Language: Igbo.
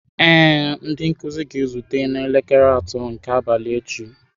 Ee, ndị nkuzi ga-ezute n'elekere atọ nke abalị echi.